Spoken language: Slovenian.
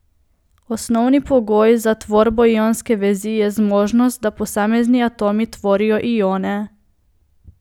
Osnovni pogoj za tvorbo ionske vezi je zmožnost, da posamezni atomi tvorijo ione.